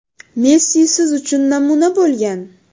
Messi siz uchun namuna bo‘lgan.